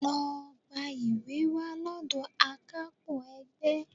Lọ gba ìwé wá lọ́dọ̀ akápò ẹgbẹ́